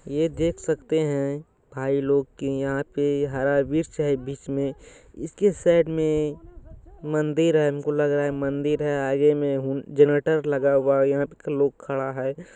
ये देख सकते हैं भाईलोग की यहाँ पे हरा-वृक्ष है बीच में इसके साइड में मंदिर है हमको लग रहा है मंदिर है आगे में हुन जनरेटर लगा हुआ है यहाँ पे लोग खड़ा है।